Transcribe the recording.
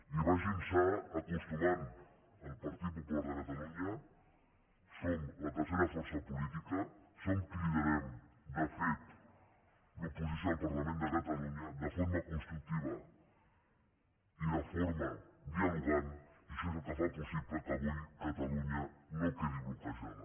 i vagin s’hi acostumant el partit popular de catalunya som la tercera força política som qui liderem de fet l’oposició al parlament de catalunya de forma constructiva i de forma dialogant i això és el que fa possible que avui catalunya no quedi bloquejada